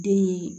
Den